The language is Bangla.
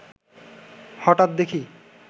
হঠাৎ দেখি